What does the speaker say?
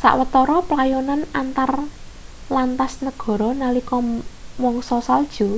sawetara playonan antar lantas negara nalika mangsa salju